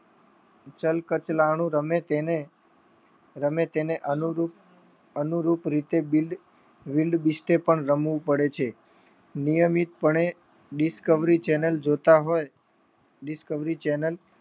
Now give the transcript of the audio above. ચલકચરાનું રમે તેને અનુરૂપ રીતે Wildebeest પણ રમવું પડે છે નિયમિત પણે Discovery Channel જોતા હોય Discovery Channel